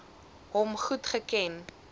hom goed geken